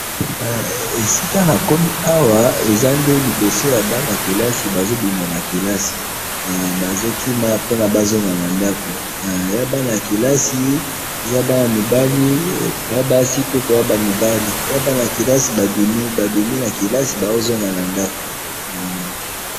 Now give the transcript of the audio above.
esika nakomi awa ezande liboso yabanakilasi bazobima nakilasi eh bazokima ponabazonga nandako yabanakilasi ezabana mibali nabasipe na mibali yebanayakilasi babimi babimi nakilasi baozonga nandako uhm